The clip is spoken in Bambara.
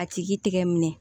A tigi tɛgɛ minɛ